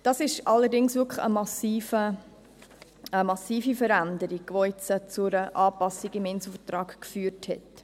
Dies ist allerdings eine massive Veränderung, welche jetzt zur Anpassung im Inselvertrag geführt hat.